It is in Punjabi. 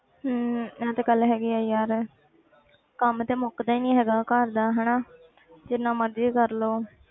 ਹਮ ਇਹ ਤੇ ਗੱਲ ਹੈਗੀ ਹੈ ਯਾਰ ਕੰਮ ਤੇ ਮੁੱਕਦਾ ਨੀ ਹੈਗਾ ਘਰ ਦਾ ਹਨਾ ਜਿੰਨਾ ਮਰਜ਼ੀ ਕਰ ਲਓ